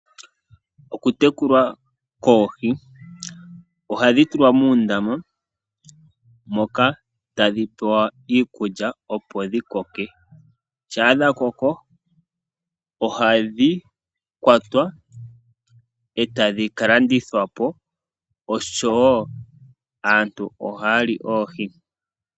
Okutekula koohi ohadhi tulwa muundama moka hadhi pewa iikulya opo dhikoke, shampa dhakoko ohadhi kwatwa e tadhi kalandithwa po osho wo aantu ohaya li oohi.